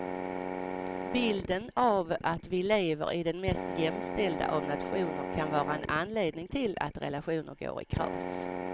Bilden av att vi lever i den mest jämställda av nationer kan vara en anledning till att relationer går i kras.